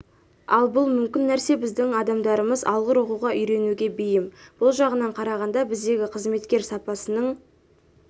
ал бұл мүмкін нәрсе біздің адамдарымыз алғыр оқуға үйренуге бейім бұл жағынан қарағанда біздегі қызметкер сапасының